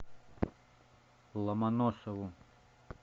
ломоносову